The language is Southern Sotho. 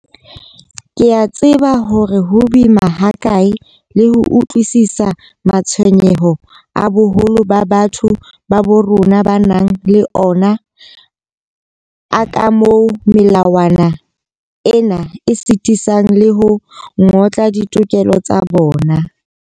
Ke a tseba hore ho boima hakae le ho utlwisisa matshwenyeho a boholo ba batho ba bo rona ba nang le ona a kamoo melawana ena e sitisang le ho ngotla ditokelo tsa bona.